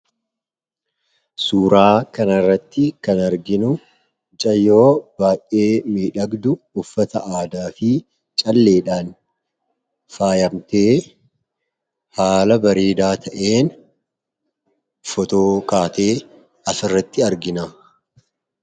suuraa kana irratti kan arginu mucayyoo baay'ee midhagdu uffata aadaa fi calleedhaan faayamtee haala bareedaa ta'een fotookaatee as irratti argina